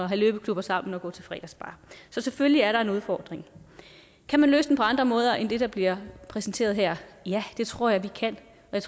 have løbeklubber sammen og gå til fredagsbar så selvfølgelig er der en udfordring kan man løse den på andre måder end det der bliver præsenteret her ja det tror jeg vi kan